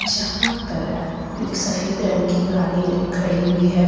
जहां पर एक सफेद रंग की गाड़ी खड़ी हुई है।